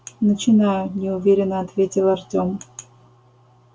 начинаю неуверенно ответил артём